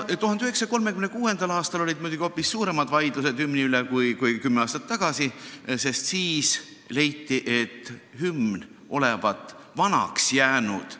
1936. aastal olid muidugi hoopis suuremad vaidlused hümni üle kui kümme aastat tagasi, sest siis leiti, et hümn olevat vanaks jäänud.